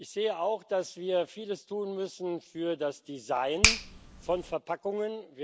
Ich sehe auch, dass wir vieles tun müssen für das Design von Verpackungen.